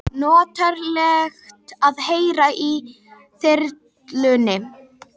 Notalegt að heyra í þyrlunni